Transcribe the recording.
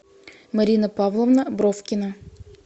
марина павловна бровкина